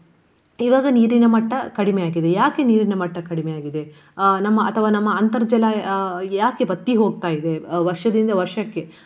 ಈವಾಗ ನೀರಿನ ಮಟ್ಟ ಕಡಿಮೆಯಾಗಿದೆ. ಯಾಕೆ ನೀರಿನ ಮಟ್ಟ ಕಡಿಮೆಯಾಗಿದೆ. ಅಹ್ ನಮ್ಮ ಅಥವಾ ನಮ್ಮ ಅಂತರ್ಜಲ ಅಹ್ ಯಾಕೆ ಬತ್ತಿ ಹೋಗ್ತಾ ಇದೆ ವರ್ಷದಿಂದ ವರ್ಷಕ್ಕೆ.